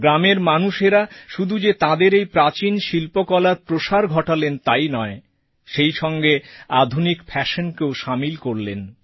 গ্রামের মানুষেরা শুধু যে তাঁদের এই প্রাচীন শিল্পকলার প্রসার করলেন তাই নয় সেই সঙ্গে আধুনিক ফ্যাশনকেও সামিল করলেন